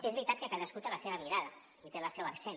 és veritat que cadascú té la seva mirada i té el seu accent